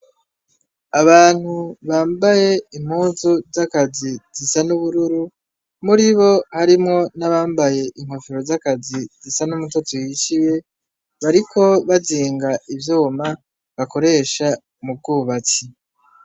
Abantu bambaye impuzu zakazi zisa nubururu muribo harimwo nabambaye inkofero zakazi zisa numutoto uhishiye bariko bazinga ivyuma bakoresha mubwubatsi